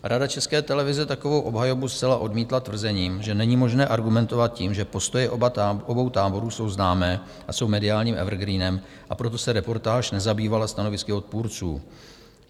Rada České televize takovou obhajobu zcela odmítla s tvrzením, že není možné argumentovat tím, že postoje obou táborů jsou známé a jsou mediálním evergreenem, proto se reportáž nezabývala stanovisky odpůrců.